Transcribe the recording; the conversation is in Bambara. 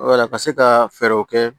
Wala ka se ka fɛɛrɛw kɛ